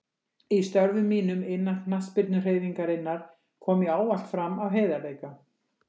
Í störfum mínum innan knattspyrnuhreyfingarinnar kom ég ávallt fram af heiðarleika.